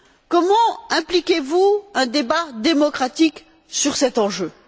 Comment voyez vous un débat démocratique sur cet enjeu?